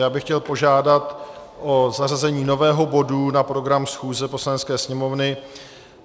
Já bych chtěl požádat o zařazení nového bodu na program schůze Poslanecké sněmovny.